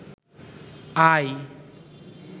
আয়